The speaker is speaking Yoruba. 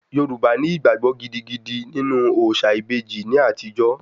Yorùbá ní ìgbàgbọ gidigidi nínú òòṣà ìbejì ní àtijó